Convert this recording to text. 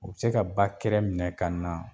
U bɛ se ka ba kɛra minɛ ka na